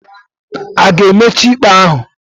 A ga-emechi ikpe ahu?